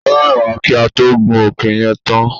Ó rẹ̀ wá kí á tó gun òkè yẹn tán.